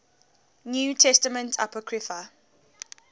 new testament apocrypha